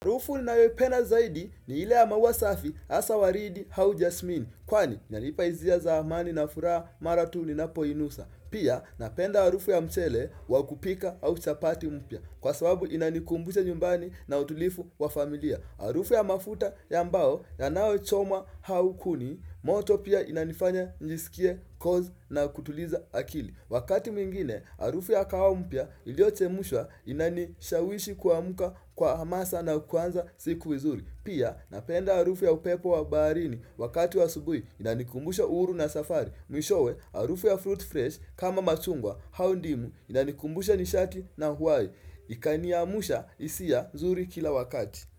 Harufu ninayoipenda zaidi ni ile ya maua safi hasaa waridi au jasmini, kwani yanipa hisia zamani na furaha mara tu ninapoinusa. Pia napenda harufu ya mchele wa kupika au chapati mpya, kwa sababu inanikumbusha nyumbani na utulivu wa familia. Harufu ya mafuta ya mbao yanayochoma au kuni, moto pia inanifanya njisikie, cozzy na kutuliza akili. Wakati mwingine, harufu ya kahawa mpya iliochemshwa inanishawishi kuamuka kwa hamasa na kuanza siku vizuri. Pia, napenda harufu ya upepo wa baharini wakati wa asubuhi inanikumbusha uhuru na safari. Mwishowe, harufu ya fruit fresh kama machungwa au ndimu inanikumbusha nishati na huwai. Ikaniamusha hisia nzuri kila wakati.